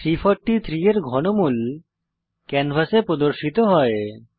343 এর ঘনমূল ক্যানভাসে প্রদর্শিত হয়